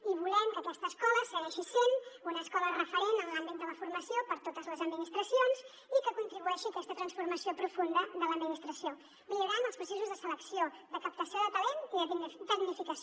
i volem que aquesta escola segueixi sent una escola referent en l’àmbit de la formació per a totes les administracions i que contribueixi a aquesta transformació profunda de l’administració millorant els processos de selecció de captació de talent i de tecnificació